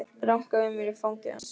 Ranka við mér í fangi hans.